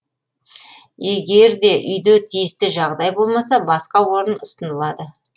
егер де үйде тиісті жағдай болмаса басқа орын ұсынылады